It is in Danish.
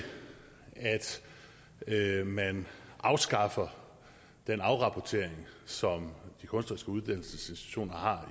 at man afskaffer den afrapportering som de kunstneriske uddannelsesinstitutioner har